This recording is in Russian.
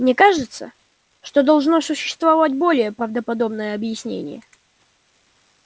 мне кажется что должно существовать более правдоподобное объяснение